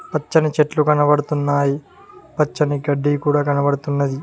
పచ్చని చెట్లు కనబడుతున్నాయి పచ్చని గడ్డి కూడ కనబడుతున్నది.